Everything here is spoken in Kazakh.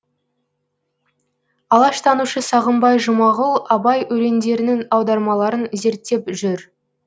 алаштанушы сағымбай жұмағұл абай өлеңдерінің аудармаларын зерттеп жүр